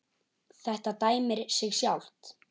Þetta dæmir sig sjálft.